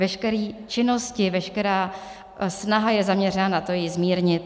Veškeré činnosti, veškerá snaha je zaměřena na to, ji zmírnit.